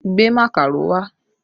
Gbé màkàró wá!